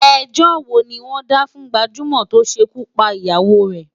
Ẹjọ́ wo ni wọ́n dá fún gbajúmọ̀ tó ṣekú pa ìyàwó rè?